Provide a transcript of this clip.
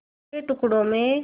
बिखरे टुकड़ों में